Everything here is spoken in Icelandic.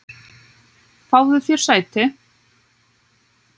Fáðu þér sæti.